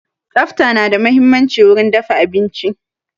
Tsafta na da muhimmanci wurin dafa abinci